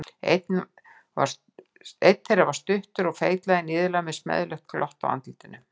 Einn þeirra var stuttur og feitlaginn, iðulega með smeðjulegt glott á andlitinu.